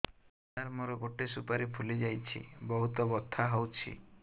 ସାର ମୋର ଗୋଟେ ସୁପାରୀ ଫୁଲିଯାଇଛି ବହୁତ ବଥା ହଉଛି